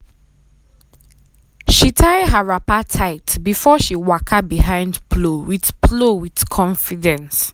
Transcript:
she tie her wrapper tight before um she waka um behind plow um with plow um with confidence.